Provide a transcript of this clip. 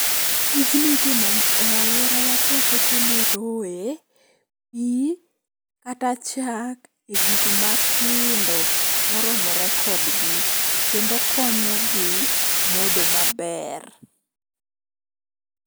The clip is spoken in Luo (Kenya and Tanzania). tijni itimo e alworawa ka waketo ne roye pii kata chak e gik matindo moromore kodgi kendo konyo gi modho maber